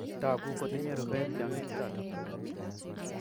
Tagu kotinye rupet tyong'ik chotok